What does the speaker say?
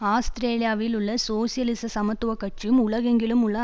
ஆஸ்திரேலியாவில் உள்ள சோசியலிச சமத்துவ கட்சியும் உலகெங்கிலும் உள்ள